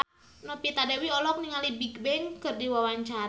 Novita Dewi olohok ningali Bigbang keur diwawancara